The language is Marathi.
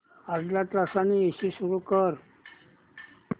अर्ध्या तासाने एसी सुरू कर